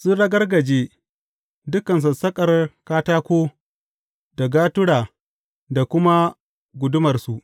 Sun ragargaje dukan sassaƙar katako da gatura da kuma gudumarsu.